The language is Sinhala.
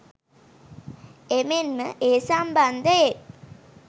එමෙන්ම ඒ සම්බන්ධයෙන්